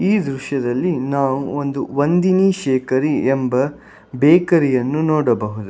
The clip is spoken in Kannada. ಈ ದೃಶ್ಯದಲ್ಲಿ ನಾವು ಒಂದು ವಂದಿನಿ ಶೇಕರಿ ಎಂಬ ಬೇಕರಿಯನ್ನು ನೋಡಬಹುದು.